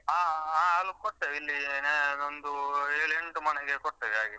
ಹಾ ಹಾಲು ಕೊಡ್ತೇವೆ ಇಲ್ಲಿ ನಮ್ದು ಏಳ್ ಎಂಟು ಮನೆಗೆ ಕೊಡ್ತೇವೆ ಹಾಗೆ.